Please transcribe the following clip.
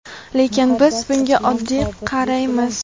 lekin biz bunga oddiy qaraymiz.